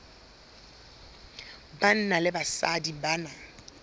banna le basadi ba na